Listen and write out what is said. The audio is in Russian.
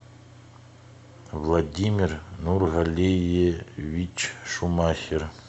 владимир нургалиевич шумахер